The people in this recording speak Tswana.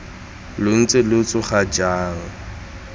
lo ntse lo tsoga jang